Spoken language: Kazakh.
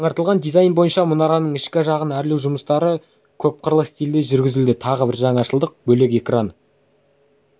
жаңартылған дизайн бойынша мұнараның ішкі жағын әрлеу жұмыстары көпқырлы стильде жүргізілді тағы бір жаңашылдық бөлек экраны